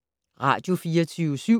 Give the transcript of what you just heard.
Radio24syv